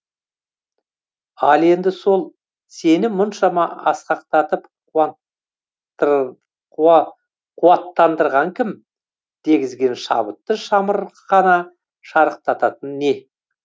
ал енді сол сені мұншама асқақтатып қуаттандырған кім дегізген шабытты шамырқана шарықтататын не